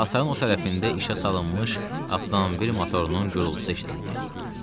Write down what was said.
Hasarın o tərəfində işə salınmış avtomobil motorunun gurultusu eşidildi.